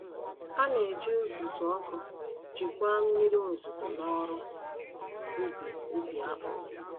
A na-eji uzuzu ọkụ jikwaa mmiri ozuzo n’ọrụ ubi ubi akpụ.